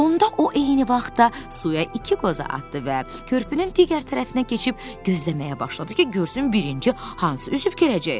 Onda o eyni vaxtda suya iki qoza atdı və körpünün digər tərəfinə keçib gözləməyə başladı ki, görsün birinci hansı üzüb gələcək.